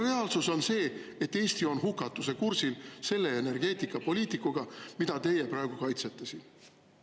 Reaalsus on see, et Eesti on hukatuse kursil selle energeetikapoliitikaga, mida teie praegu kaitsete siin.